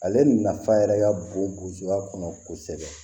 Ale nafa yɛrɛ ka bon bjoya kɔnɔ kosɛbɛ